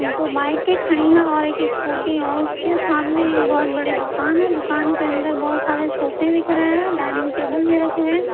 दो माइक के खड़ी है और एक स्कूटी और उसके सामने बहुत बड़ी दुकान है दुकान के अंदर बहुत सारे सोफे दिख रहे हैं डाइनिंग टेबल भी रखे हुए है।